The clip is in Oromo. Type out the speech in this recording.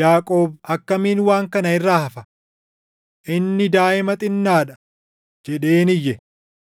Yaaqoob akkamiin waan kana irraa hafa? Inni daaʼima xinnaa dha!” jedheen iyye.